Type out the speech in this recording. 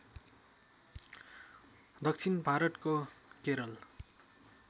दक्षिण भारतको केरल